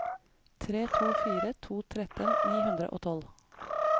tre to fire to tretten ni hundre og tolv